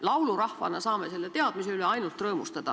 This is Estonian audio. Laulurahvana saame selle teadmise üle ainult rõõmustada.